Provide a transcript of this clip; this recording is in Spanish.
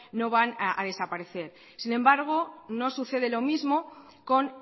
no van a desaparecer sin embargo no sucede lo mismo con